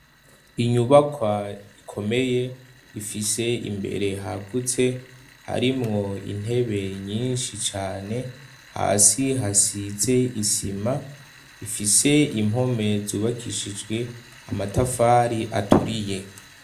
Inyubakwa ikomeye ifise imbere hagutse harimwo intebe nyinshi cane hasi hasize isima, ifise impome zubakishijwe amatafari aturiye.